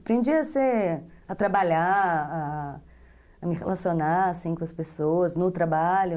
Aprendi a trabalhar, a me relacionar com as pessoas no trabalho.